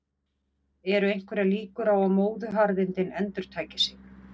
eru einhverjar líkur á að móðuharðindin endurtaki sig